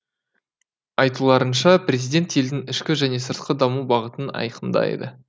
айтуларынша президент елдің ішкі және сыртқы даму бағытын айқындайды